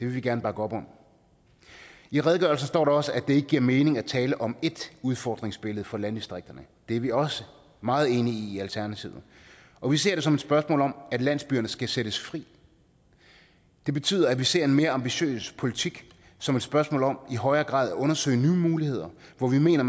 vi gerne bakke op om i redegørelsen står der også at det ikke giver mening at tale om ét udfordringsbillede for landdistrikterne og det er vi også meget enige i i alternativet og vi ser det som et spørgsmål om at landsbyerne skal sættes fri det betyder at vi ser en mere ambitiøs politik som et spørgsmål om i højere grad at undersøge nye muligheder hvor vi mener